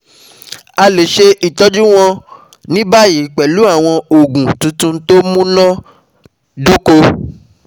A lè ṣe ìtọ́jú wọ́n ní báyìí pẹ̀lú àwọn òògùn tuntun tó múná-dóko